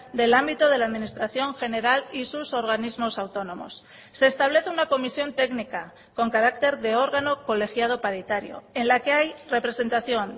del ámbito de la administración general y sus organismos autónomos se establece una comisión técnica con carácter de órgano colegiado paritario en la que hay representación